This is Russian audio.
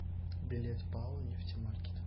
билет пао нефтемаркет